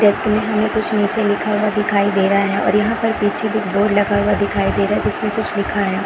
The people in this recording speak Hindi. डेस्क में हमें कुछ नीचे लिखा हुआ दिखाई दे रहा है और यहाँ पर पीछे एक बोर्ड भी लगा हुआ दिखाई दे रहा है जिसमें कुछ लिखा है।